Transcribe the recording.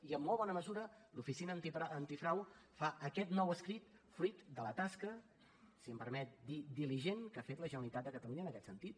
i en molt bona mesura l’oficina antifrau fa aquest nou escrit fruit de la tasca si m’ho permet dir diligent que ha fet la generalitat de catalunya en aquest sentit